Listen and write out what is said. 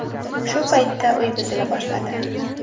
Shu paytda uy buzila boshladi.